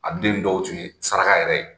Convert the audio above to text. A den dɔw tun ye saraka yɛrɛ ye.